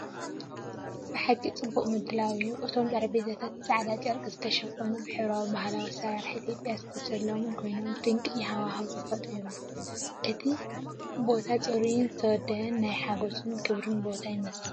ብሓቂ ጽቡቕ ምድላው እዩ! እቶም ጠረጴዛታት ብጻዕዳ ጨርቂ ዝተሸፈኑን ብሕብራዊ ባህላዊ ኣሰራርሓ ኢትዮጵያውያን ዝተሰለሙን ኮይኖም ድንቂ ሃዋህው ይፈጥሩ። እቲ ቦታ ጽሩይን ዝተወደበን ናይ ሓጎስን ክብርን ቦታ ይመስል።